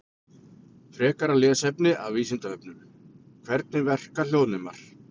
Frekara lesefni af Vísindavefnum: Hvernig verka hljóðnemar?